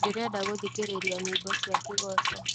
ndĩrenda gũthikĩria nyĩĩmbo cia kĩgooco